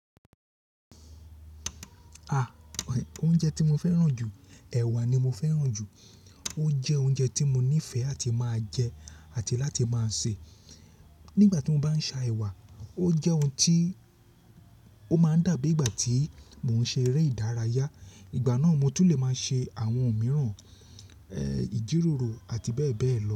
A, oúnjẹ tí mo fẹ́ràn jù, ẹ̀wà ni mo fẹ́ràn jù. Ó jẹ́ oúnjẹ tí mo nífẹ̀ẹ́ láti máa jẹ àti láti máa sè. Nígbà tí mo bá ń ṣà ewà, o jẹ́ ohun tí ó máa ń dàbí ìgbà tí mò ń ṣe eré ìdárayá. Ìgbà náà mo tún lè máa ṣe àwọn ohun mìíràn, ẹ́, ìjíròrò àti bẹ́ẹ̀ bẹ́ẹ̀ lọ.